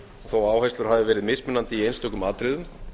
þó að áherslur hafi verið mismunandi í einstökum atriðum